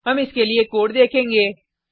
हम इसके लिए कोड देखेंगे